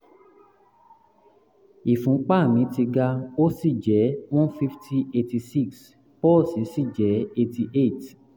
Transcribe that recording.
ìfúnpá mi ti ga ó sì jẹ́ one fifty eighty six pọ́ọ̀sì sì jẹ́ eighty eight